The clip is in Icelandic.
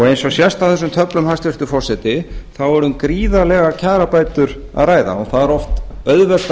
eins og sést á þessum töflum hæstvirtur forseti er um gríðarlega kjarabætur að ræða og það er oft auðvelt að